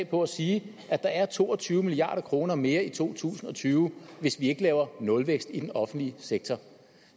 på at sige at der er to og tyve milliard kroner mere i to tusind og tyve hvis vi ikke laver nulvækst i den offentlige sektor